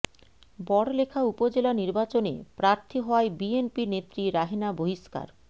বড়লেখা উপজেলা নির্বাচনে প্রার্থী হওয়ায় বিএনপি নেত্রী রাহেনা বহিস্কার